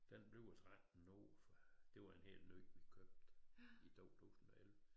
Den bliver 13 år for det var en helt ny vi købte i 2011